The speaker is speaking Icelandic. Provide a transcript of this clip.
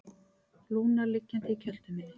Lúna liggjandi í kjöltu minni.